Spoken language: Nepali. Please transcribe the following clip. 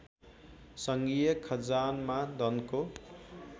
सङ्घीय खजानमा धनको